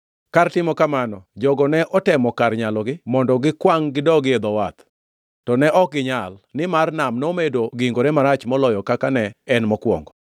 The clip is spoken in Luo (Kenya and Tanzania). Kar timo kamano, jogo ne otemo kar nyalogi mondo gikwangʼ gidogi e dho wath. To ne ok ginyal, nimar nam nomedo gingore marach moloyo kaka ne en mokwongo.